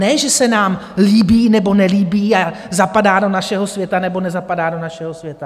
Ne že se nám líbí, nebo nelíbí a zapadá do našeho světa, nebo nezapadá do našeho světa.